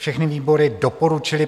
Všechny výbory doporučily